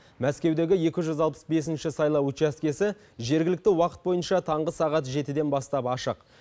мәскеудегі екі жүз алпыс бесінші сайлау учаскесі жергілікті уақыт бойынша таңғы сағат жетіден бастап ашық